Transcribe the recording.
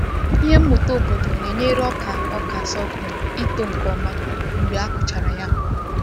Ihe mmuta obodo na-enyere ọka ọka sorghum ịtoo nke ọma mgbe a kụchara ya mbụ.